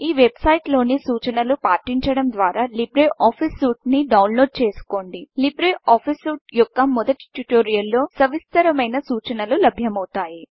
ఈ వెబ్సైట్లోని సూచనలు పాటించడం ద్వారా లిబ్రే ఆఫీస్ సూట్ ని డౌన్లోడ్ చేసుకోండి లీబ్రే ఆఫీస్ సూట్ యొక్క మొదటి ట్యుటోరియల్లో సవిస్తరమైన సూచనలు లభ్యమవుతాయి